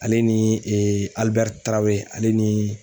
Ale ni Alibɛri Tarawere ale ni